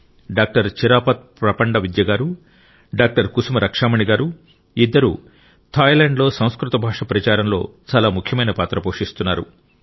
doctor Chirapat Prapandavidya గారు doctor Kusuma Rakshamani గారు ఇద్దరూ థాయ్లాండ్లో సంస్కృత భాష ప్రచారంలో చాలా ముఖ్యమైన పాత్ర పోషిస్తున్నారు